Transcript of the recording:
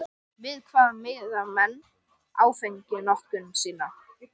Við hvað miða menn áfengisnotkun sína?